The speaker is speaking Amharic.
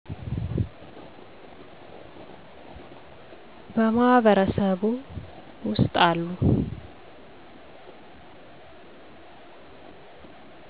በማህበረሱ ውስጥ አሉ